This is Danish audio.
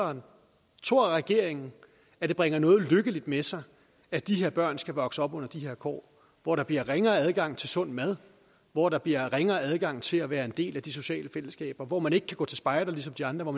og tror regeringen at det bringer noget lykkeligt med sig at de her børn skal vokse op under de her kår hvor der bliver ringere adgang til sund mad hvor der bliver ringere adgang til at være en del af de sociale fællesskaber hvor man ikke kan gå til spejder ligesom de andre og